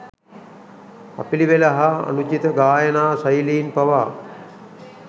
අපිළිවෙල හා අනුචිත ගායනා ශෛලීන් පවා